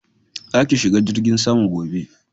Za ki shiga jirgin sama gobe